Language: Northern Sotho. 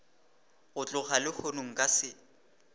go tloga lehono nka se